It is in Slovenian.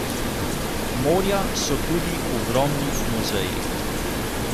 Morja so tudi ogromni muzeji.